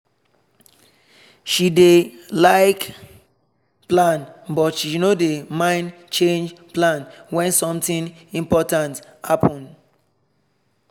she dey like plan but she no mind change plan when something important happen.